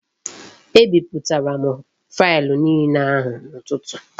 E biputara m faịlụ niile ahụ n'ụtụtụ